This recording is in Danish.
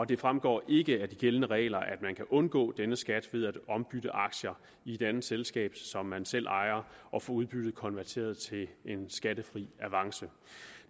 det fremgår ikke af de gældende regler at man kan undgå denne skat ved at ombytte aktier i et andet selskab som man selv ejer og få udbyttet konverteret til en skattefri avance